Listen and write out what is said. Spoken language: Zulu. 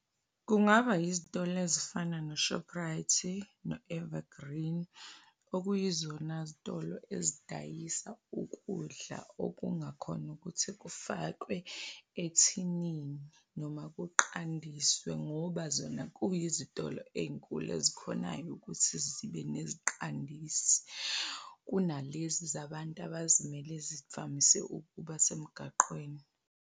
Kungaba izitolo ezifana no-Shoprite no-Evergreen okuyizona zitolo ezidayisa ukudla okungakhona ukuthi kufakwe ethinini noma kuqandiswe ngoba zona kuyizitolo eyinkulu ezikhonayo ukuthi zibe neziqandisi kunalezi zabantu abazimele zivamise ukuba semgaqweni.